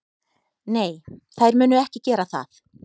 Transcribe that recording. Nei, þær munu ekki gera það.